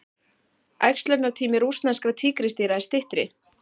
Æxlunartími rússneskra tígrisdýra er styttri.